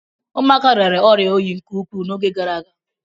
Ụmụaka rịara ọrịa oyi nke ukwuu n'oge gara aga.